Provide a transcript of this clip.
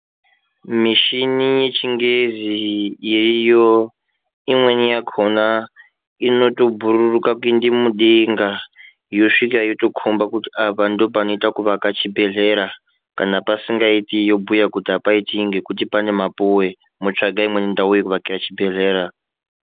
Mishini yechingezi yeiyo, imweni inobhururuka kuende mudenga yosvika yotokhomba kuti apa ndopanoite kuwaka chibhedhlera. Kana pasingaiti, yobhuya kuti apaiti ngekuti pane mapuwe motsvaka imweni ndau yekuwakire chibhedhlera.